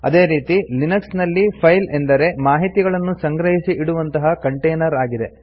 ಅದೇ ರೀತಿ ಲಿನಕ್ಸ್ ನಲ್ಲಿ ಫೈಲ್ ಅಂದರೆ ಮಾಹಿತಿಗಳನ್ನು ಸಂಗ್ರಹಿಸಿ ಇಡುವಂತಹ ಕಂಟೇನರ್ ಆಗಿದೆ